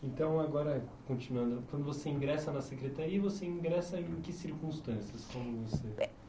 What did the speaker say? Então, agora, continuando, quando você ingressa na Secretaria, você ingressa em que circunstâncias?